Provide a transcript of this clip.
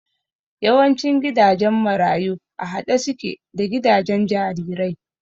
Yawancin gidajen marayu a haɗe suke da gidajen jarirai